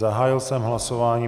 Zahájil jsem hlasování.